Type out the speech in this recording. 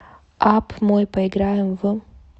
апп мой поиграем в